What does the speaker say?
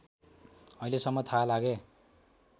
अहिलेसम्म थाहा लागे